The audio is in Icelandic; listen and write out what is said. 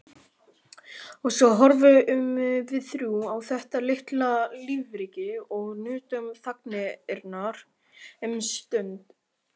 Og svo horfðum við þrjú á þetta litla lífríki og nutum þagnarinnar um stund.